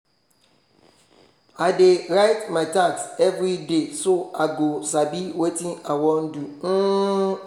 i dey write my task everyday so i go sabi watin i wan do um